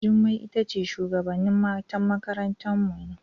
Jummai itace shugabana matan makaranta mu ne.